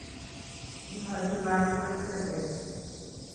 Ilochi lakwet swetet